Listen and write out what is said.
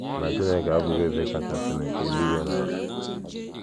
Ọ̀ bụ na Chineke abụghị Eze Kachasịnụ nke eluigwe na ala?